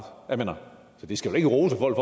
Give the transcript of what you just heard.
jeg mener vi skal ikke rose folk